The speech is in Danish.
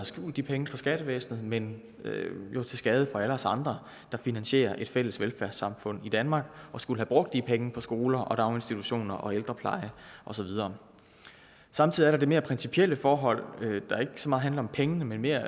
skjult de penge for skattevæsenet men jo til skade for alle os andre der finansierer et fælles velfærdssamfund i danmark og skulle have brugt de penge på skoler daginstitutioner ældrepleje og så videre samtidig er der det mere principielle forhold der ikke så meget handler om pengene men mere